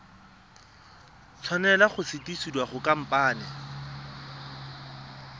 tshwanela go sutisediwa go khamphane